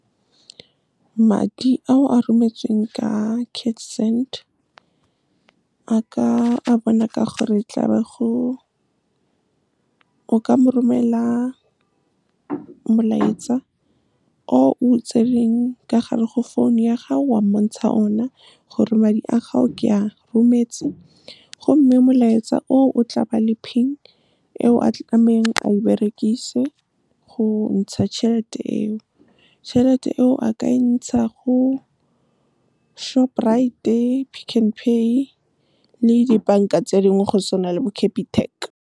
Madi a o a rometsweng ka CashSend a ka bonwa o ka mo romelela molaetsa o o tseneng ka gare go phone ya gago, wa mo bontsha ona gore, madi a gago ke a rometse. Gomme molaetsa oo o tla ba le PIN e o tlamehile a e berekise go ntsha tšhelete eo. Tšhelete eo ke akantsha go Shoprite, Pick n Pay, le dibanka tse dingwe go se na le bo Capitec. Madi a o a rometsweng ka CashSend a ka bonwa o ka mo romelela molaetsa o o tseneng ka gare go phone ya gago, wa mo bontsha ona gore, madi a gago ke a rometse. Gomme molaetsa oo o tla ba le PIN e o tlamehile a e berekise go ntsha tšhelete eo. Tšhelete eo ke akantsha go Shoprite, Pick n Pay, le dibanka tse dingwe go se na le bo Capitec.